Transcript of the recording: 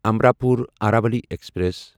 Amrapur Aravali express